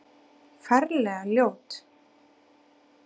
Ferlega ljót.